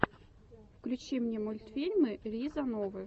включи мне мультфильмы риза новы